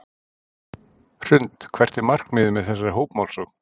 Hrund: Hvert er markmiðið með þessari hópmálsókn?